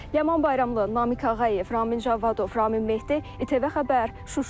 Ləman Bayramlı, Namiq Ağayev, Ramin Cavadov, Ramin Mehdi, İTV Xəbər, Şuşa.